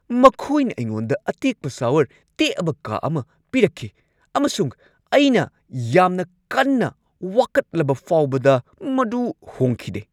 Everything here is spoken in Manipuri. ꯃꯈꯣꯏꯅ ꯑꯩꯉꯣꯟꯗ ꯑꯇꯦꯛꯄ ꯁꯥꯋꯔ ꯇꯦꯛꯑꯕ ꯀꯥ ꯑꯃ ꯄꯤꯔꯛꯈꯤ ꯑꯃꯁꯨꯡ ꯑꯩꯅ ꯌꯥꯝꯅ ꯀꯟꯅ ꯋꯥꯀꯠꯂꯕ ꯐꯥꯎꯕꯗ ꯃꯗꯨ ꯍꯣꯡꯈꯤꯗꯦ꯫